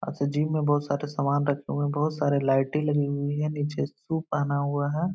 अच्छा जिम में बोहोत सारे सामान रखे हुए हैं | बोहोत सारे लाइटे लगी हुई हैं। नीचे सू पहना हुआ है।